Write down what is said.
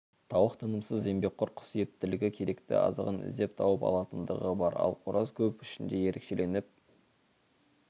тауық тынымсыз еңбекқор құс ептілігі керекті азығын іздеп тауып алатындығы бар ал қораз көп ішінде ерекшеленіп